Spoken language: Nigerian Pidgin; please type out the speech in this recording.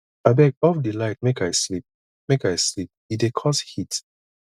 abeg off di light make i sleep make i sleep e dey cause heat